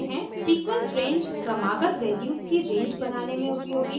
sequence range क्रमागत values की range बनाने में उपयोगी है